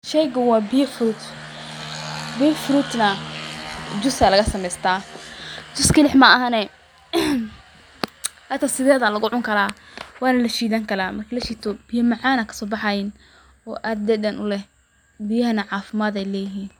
Sheygan wa biya frut, biya frutna jus aa laga sameeysta ,jus keli ma ahane xata sided aa lugu cuni karaa wana lashiidani karaa, markii lashiito biya macaan aa kasobaxayin oo aad dhadhan u leh biyahana caafimad ay leyihin